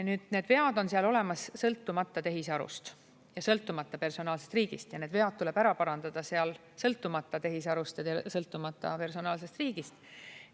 Nüüd, need vead on seal olemas, sõltumata tehisarust ja sõltumata personaalsest riigist, ja need vead tuleb ära parandada, sõltumata tehisarust ja sõltumata personaalsest riigist.